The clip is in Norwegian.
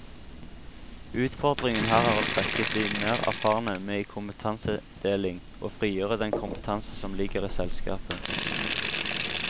Utfordringen her er å trekke de mer erfarne med i kompetansedeling og frigjøre den kompetanse som ligger i selskapet.